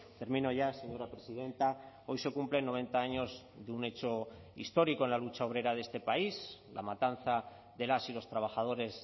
termino ya señora presidenta hoy se cumplen noventa años de un hecho histórico en la lucha obrera de este país la matanza de las y los trabajadores